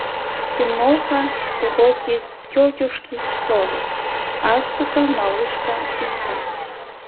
тимоха уроки тетушки совы азбука малышка искать